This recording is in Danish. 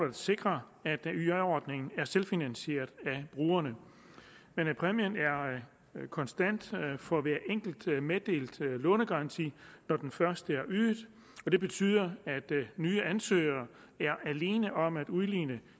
at sikre at yj ordningen er selvfinansieret af brugerne præmien er konstant for hver enkelt meddelt lånegaranti når den først er ydet og det betyder at nye ansøgere er alene om at udligne